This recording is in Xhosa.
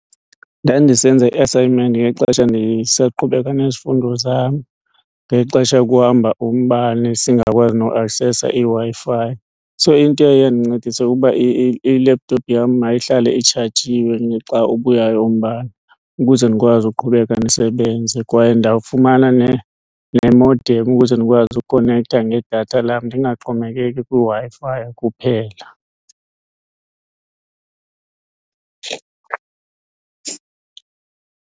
Ndandisenza i-assignment ngexesha ndisaqhubeka nezifundo zam ngexesha kuhamba umbane singakwazi noku aksesa iWi-Fi. So into eyaye yandincedisa kukuba i-laptop yam mayihlale itshajiwe xa ubuyayo umbane ukuze ndikwazi uqhubeka ndisebenze. Kwaye ndafumana ne-moderm ukuze ndikwazi ukonektha ngedatha lam ndingaxhomekeki kwiWi-Fi kuphela.